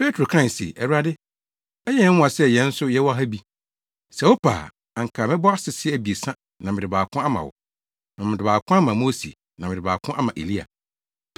Petro kae se, “Awurade, ɛyɛ nwonwa sɛ yɛn nso yɛwɔ ha bi. Sɛ wopɛ a, anka mɛbɔ asese abiɛsa na mede baako ama wo, na mede baako ama Mose, na mede baako ama Elia.”